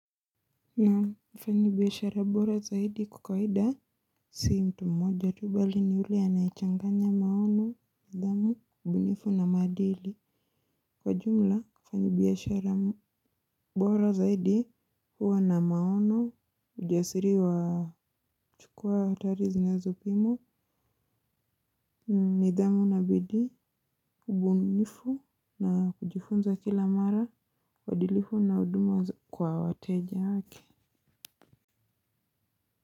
Naam fanyi biashara bora zaidi kwa kawida sii mtu mmoja tu bali ni ule anaichanganya maono, nidhamu, ubunifu na maadili. Kwa jumla, mfanyi biashara bora zaidi huwa na maono ujasiri wa chukua hatari zinezo pimwa, nidhamu na bidii, ubunifu na kujifunza kila mara, uwadilifu na huduma kwa wateja wake.